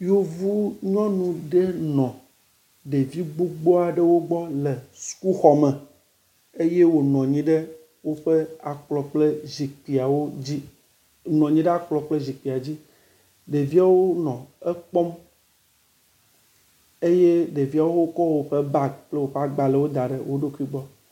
Yevu nyɔnu ɖe nɔ ɖevi gbogbo aɖewo gbɔ le sukuxɔme eye wonɔ anyi ɖe woƒe akplɔ kple zikpuiawo dzi nɔ anyi ɖe akplɔ kple zikpuia dzi. Ɖeviawo nɔ ekpɔm eye ɖeviawo kɔ woƒe bagi kple woƒe gbalewo da ɖe wo ɖokui gbɔ.